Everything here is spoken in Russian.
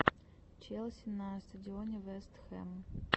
челси на стадионе вест хэм